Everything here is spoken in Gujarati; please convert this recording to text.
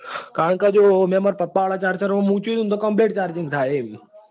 કારણ કે જો મેં માર પાપા વાળા charger માં મુક્યું હતું તી completecharging થાય છે એમ